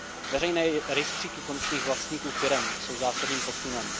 Veřejné rejstříky konečných vlastníků firem jsou zásadním posunem.